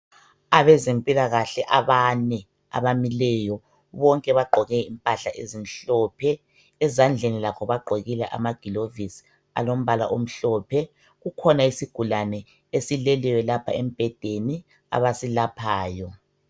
Abezempilakahle abanye bonke bagqoke impahla ezimhlophe, ezandleni lakho bagqokile ama gilovisi alombala omhlophe. Kukhona isi gulane esileleyo lapha embedeni abasilaphayo